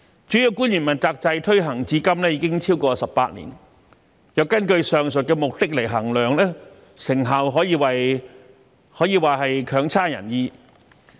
主要官員問責制推行至今已超過18年，若根據上述目的來衡量，成效可謂差強人意。